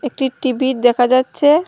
একটি টি_ভি দেখা যাচ্ছে।